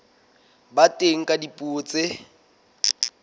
ba teng ka dipuo tse